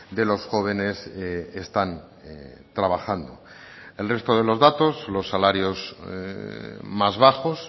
de los jóvenes están trabajando el resto de los datos los salarios más bajos